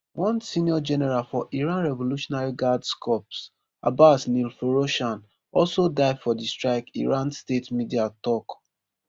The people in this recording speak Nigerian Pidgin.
one senior general for iran revolutionary guards corps abbas nilforoushan also die for di strike iran state media tok